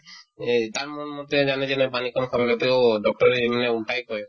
এই তাৰ মন মতে জানাযে নাই পানী কম খাব লাগে তেওঁ doctor য়ে এনেও ওলতায়ে কই